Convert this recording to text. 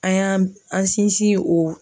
An y'an an sinsin o.